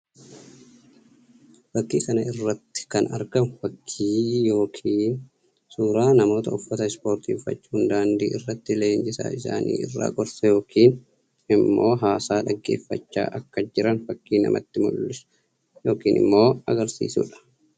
Fakkii kana irratti kan argamu fakkii yookiin suuraa namoota uffata ispoortii uffachuun daandii irratti leenjisaa isaanii irraa gorsa yookiin immok haasaa dhaggeeffachaa akka jiran fakkii namatti mullisu yookiin immoo agarsiisuu dha.